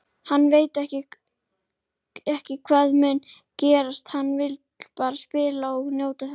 Hann veit ekki hvað mun gerast, hann vill bara spila og njóta þess.